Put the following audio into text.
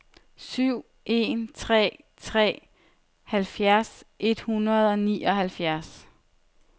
syv en tre tre halvfjerds et hundrede og nioghalvfjerds